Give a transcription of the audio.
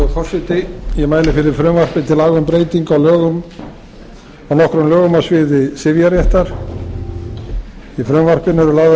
virðulegi forseti ég mæli fyrir frumvarpi til breytinga á nokkrum lögum á sviði sifjaréttar í frumvarpinu eru